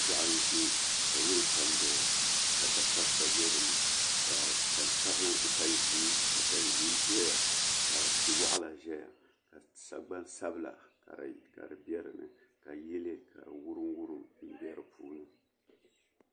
Ʒiɛɣu n ʒɛ ka woya ka n doya ka da kabisa bɛ dinni ka tani ʒiɛ doya ka tia waɣala doya ka sagbani sabila ka di bɛ dinni ka yili ka di wurim wurim bɛ di puuni